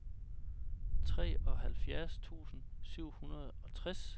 treoghalvfjerds tusind syv hundrede og tres